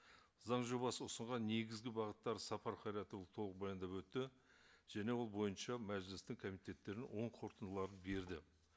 заң жобасы ұсынған негізгі бағыттар сапар қайратұлы толық баяндап өтті және ол бойынша мәжілістің комитеттерінің оң қорытындыларын берді